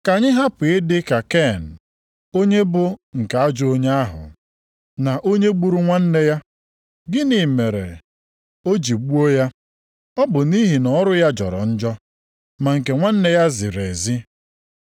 Ka anyị hapụ ịdị ka Ken, onye bụ nke ajọ onye ahụ, na onye gburu nwanne ya. Gịnị mere o ji gbuo ya? Ọ bụ nʼihi na ọrụ ya jọrọ njọ, ma nke nwanne ya ziri ezi.